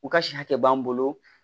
U ka si hakɛ b'an bolo